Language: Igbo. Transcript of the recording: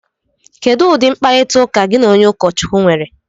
Kedu ụdị mkparịta ụka gị na onye ụkọchukwu nwere?